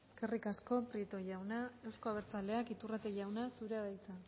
eskerrik asko prieto jauna euzko abertzaleak iturrate jauna zurea da hitza